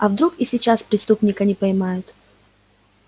а вдруг и сейчас преступника не поймают